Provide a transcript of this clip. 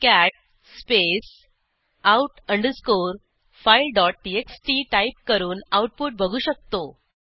cat space out underscore file TXT type करून output बघू शकतो